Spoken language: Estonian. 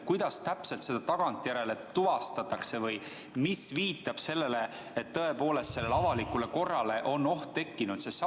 Kuidas täpselt tagantjärele tuvastatakse või mis viitab sellele, et avalikule korrale on tõepoolest oht tekkinud?